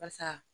Barisa